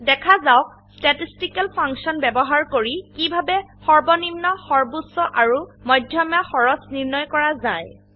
দেখা যাওক statistical function ব্যবহাৰ কৰি কিভাবে সৰ্বনিম্ন সৰ্বোচ্চ আৰু মধ্যমা খৰচ নিৰ্ণয় কৰা যায়